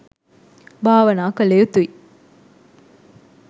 භාවනා කළ යුතුයි.